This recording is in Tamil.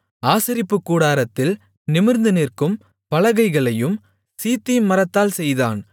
ஆசரிப்புக்கூடாரத்தில் நிமிர்ந்துநிற்கும் பலகைகளையும் சீத்திம் மரத்தால் செய்தான்